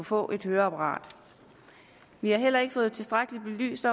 få et høreapparat vi har heller ikke fået tilstrækkeligt belyst